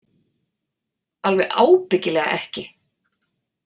Alveg ábyggilega ekki.